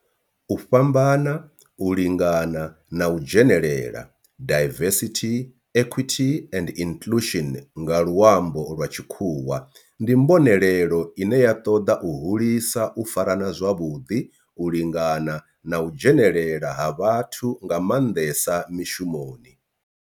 U fhambana, u lingana na u dzhenelela diversity, equity and inclusion nga lwambo lwa tshikhuwa ndi mbonelelo ine ya toda u hulisa u farana zwavhudi, u lingana na u dzhenelela ha vhathu nga manḓesa mishumoni.